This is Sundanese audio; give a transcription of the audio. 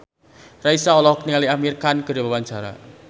Raisa olohok ningali Amir Khan keur diwawancara